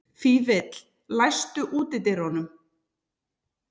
Fífill, læstu útidyrunum.